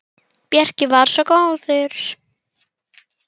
Bjarki var svo góður.